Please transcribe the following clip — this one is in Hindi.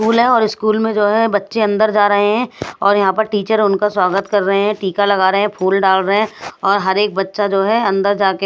स्कूल है और स्कूल में जो है बच्चे अंदर जा रहे हैं और यहां पर टीचर उनका स्वागत कर रहे हैं टीका लगा रहे हैं फूल डाल रहे हैं और हर एक बच्चा जो है अंदर जाके --